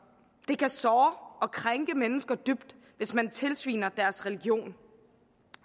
det kan såre og krænke mennesker dybt hvis man tilsviner deres religion